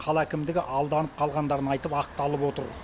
қала әкімдігі алданып қалғандарын айтып ақталып отыр